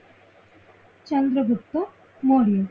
Chandragupta Maurya